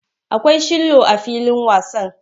Akwai shillo a filin wasan.